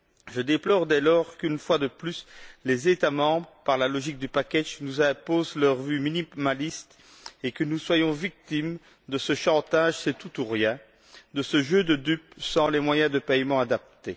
Je déplore dès lors, qu'une fois de plus, les États membres, par la logique du package, nous imposent leur vue minimaliste, et que nous soyons victimes de ce chantage du c'est tout ou rien, de ce jeu de dupes sans les moyens de paiement adaptés.